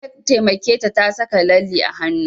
Na taimake ta saka lalle a hanu